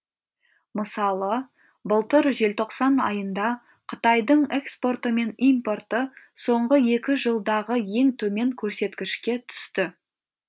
мысалы былтыр желтоқсан айында қытайдың экспорты мен импорты соңғы екі жылдағы ең төмен көрсеткішке түсті